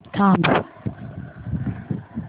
थांब